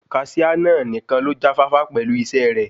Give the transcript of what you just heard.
Kaṣiá náà nìkan ló já fáfá pẹ̀lú isẹ́ rè.